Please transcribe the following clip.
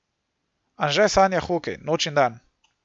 Anže sanja hokej noč in dan.